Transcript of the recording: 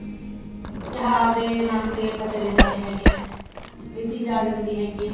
ਤਿਉਹਾਰ ਦੇ ਨਾਮ ਦੇ ਆਪਾਂ ਚਲੇ ਜਾਂਦੇ ਹੈਗੇਆ ਇਹ ਚੀਜ਼ ਆ ਜਾਂਦੀ ਹੈਗੀ ਏ